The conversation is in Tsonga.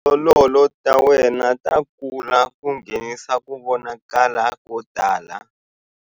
Tindzololo ta wena ta kula ku nghenisa ku vonakala ko tala.